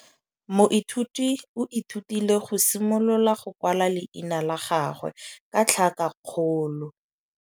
Moithuti o ithutile go simolola go kwala leina la gagwe ka tlhakakgolo.